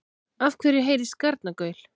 Af hverju heyrist garnagaul?